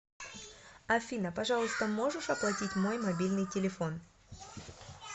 афина пожалуйста можешь оплатить мой мобильный телефон